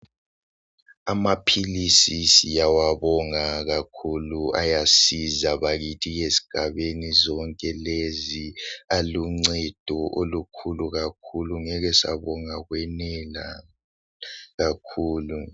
Amaphilisi siyawabonga kakhulu , ayasiza bakithi ezigabeni zonke lezi aluncedo olukhulu kakhulu, ngeke sabonga kwenela, kakhulu.